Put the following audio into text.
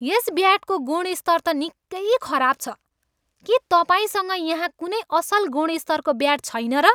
यस ब्याटको गुणस्तर त निकै खराब छ। के तपाईँसँग यहाँ कुनै असल गुणस्तरको ब्याट छैन र?